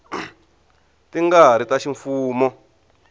ti nga ri ta ximfumo